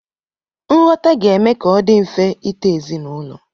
Nghọta ga-eme ka ọ dị mfe ịto ezinaụlọ.